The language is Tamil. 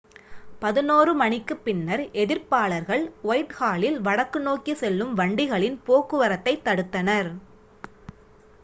11:00 மணிக்குப் பின்னர் எதிர்ப்பாளர்கள் ஒயிட்ஹாலில் வடக்கு நோக்கி செல்லும் வண்டிகளின் போக்குவரத்தைத் தடுத்தனர்